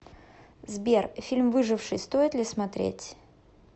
сбер фильм выживший стоит ли смотреть